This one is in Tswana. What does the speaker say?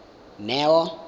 neo